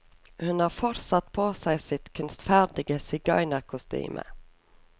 Hun har fortsatt på seg sitt kunstferdige sigøynerkostyme.